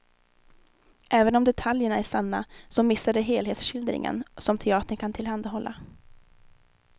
Även om detaljerna är sanna så missar de helhetsskildringen, som teatern kan tillhandahålla.